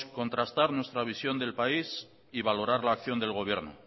contrastar nuestra visión del país y valorar la acción del gobierno